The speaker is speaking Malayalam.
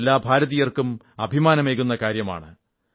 ഇത് എല്ലാ ഭാരതീയർക്കും അഭിമാനമേകുന്ന കാര്യമാണ്